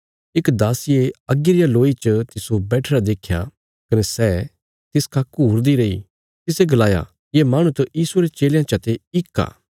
इक दासिये अग्गी रिया लोई च तिस्सो बैठिरा देख्या कने सै तिसखा घूरदी रैई तिसे गलाया ये माहणु त यीशुये रे चेलयां चा ते इक आ